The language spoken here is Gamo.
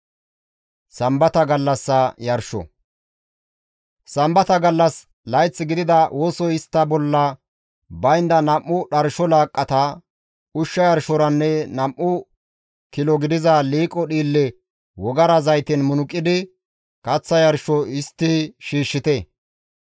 « ‹Sambata gallas, layth gidida wosoy istta bolla baynda nam7u dharsho laaqqata, ushsha yarshoranne nam7u kilo gidiza liiqo dhiille wogara zayten munuqidi kaththa yarsho histti shiishshite.